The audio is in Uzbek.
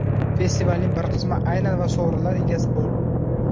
Festivalning bir qismi aylan va sovrinlar egasi bo‘l!